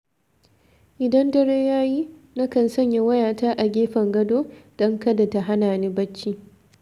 Idan dare ya yi, na kan sanya wayata a gefen gado, don kada ta hana ni barci.